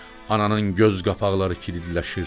Ananın göz qapaqları kilidlənir.